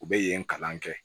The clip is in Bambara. U bɛ yen kalan kɛ